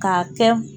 K'a kɛ